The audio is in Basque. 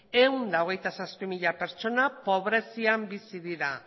ehun eta hogeita zazpi mila pertsona pobrezian bizi dira